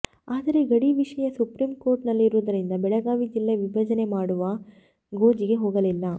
ಆದರೆ ಗಡಿ ವಿಷಯ ಸುಪ್ರಿಂ ಕೋರ್ಟನಲ್ಲಿರುವುದರಿಂದ ಬೆಳಗಾವಿ ಜಿಲ್ಲಾ ವಿಭಜನೆ ಮಾಡುವ ಗೋಜಿಗೆ ಹೊಗಲಿಲ್ಲ